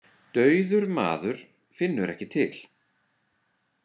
Dauður maður finnur ekki til.